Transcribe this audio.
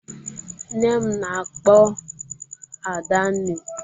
Nne m na-akpọ Adanne.